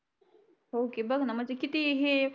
हो ना बघ ना किती हे